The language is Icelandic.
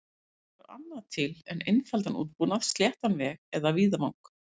Ekki þarf annað til en einfaldan útbúnað, sléttan veg eða víðavang.